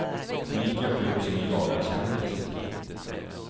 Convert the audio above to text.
Och lika skygg som en jagad kändis.